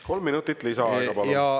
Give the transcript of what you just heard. Kolm minutit lisaaega, palun!